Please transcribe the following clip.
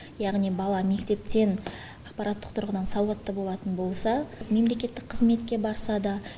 яғни бала мектептен ақпараттық тұрғыдан сауатты болатын болса мемлекеттік қызметке барса да